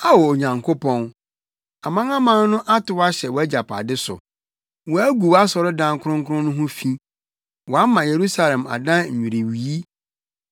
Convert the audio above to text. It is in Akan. Ao Onyankopɔn, amanaman no atow ahyɛ wʼagyapade so; wɔagu wʼasɔredan kronkron no ho fi, wɔama Yerusalem adan nnwiriwii.